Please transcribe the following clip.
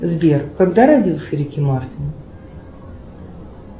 сбер когда родился рики мартин